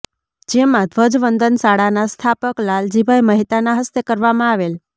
જેમાં ધ્વજવંદન શાળાના સ્થાપક લાલજીભાઇ મહેતાના હસ્તે કરવામાં આવેલ